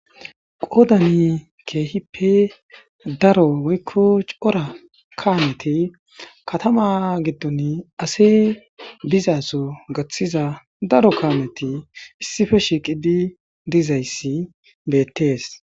qoodani keehippe daro woykko cora kaameti katama giddon ase bizaso gaththiza daro kaameti issife shiqidi dizayssi beettees